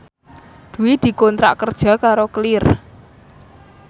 Dwi dikontrak kerja karo Clear